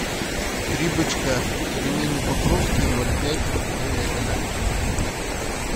три бычка пельмени покровские ноль пять говядина